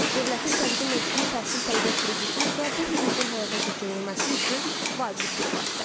Dövlətin təqdim etdiyi təhsil tələbə krediti isə bu hüququn həyata keçirilməsi üçün vacib bir vasitədir.